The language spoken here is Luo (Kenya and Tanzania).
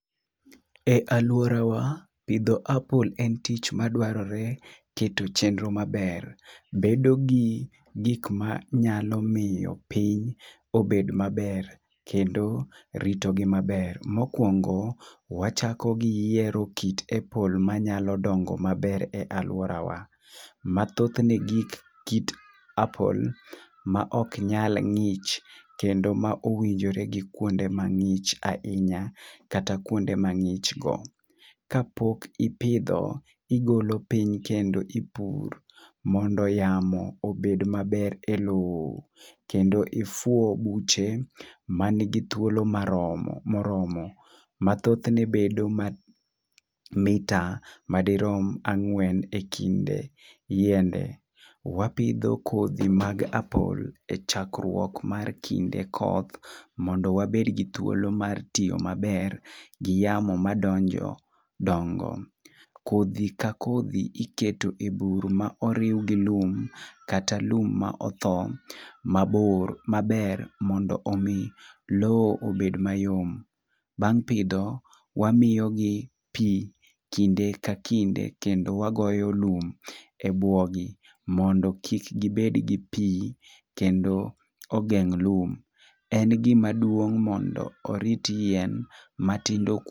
E alworawa, pidho apple en tich madwarore keto chenro maber. Bedo gi gik manyalo piny obed maber kendo rito gi maber. Mokwongo wachako gi yiero kit apple manyalo dongo maber e alworawa. Mathothne gik kit apple maok nyal ng'ich kendo ma owinjore gi kuonde mang'ich ahinya kata kuonde mang'ich go. Kapok ipidho, igolo piny kendo ipur, mondo yamo obed maber e lowo. Kendo ifuo buche manigi thuolo moromo, ma thothne bedo mita madirom ang'wen e kind yiende. Wapidho kodhi mag apple e chakruok mar kinde koth mondo wabed gi thuolo mar tiyo maber gi yamo madonjo. Kodhi ka kodhi iketo e bur ma oriw gi lum kata lum ma otho maber mondo omi lowo obed mayom. Bang' pidho, wamiyogi pi kinde ka kinde kendo wagoyo lum e bwogi mondo kik gibed gi pi kendo ogeng' lum. En gima duong' mondo orit yien matindo.